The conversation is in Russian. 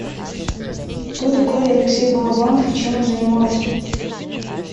кто такой алексей балабанов и чем он занимался